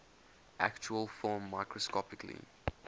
actual film microscopically